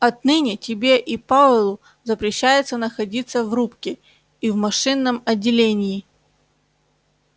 отныне тебе и пауэллу запрещается находиться в рубке и в машинном отделении